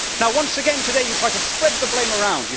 Once again today you try to spread the blame around.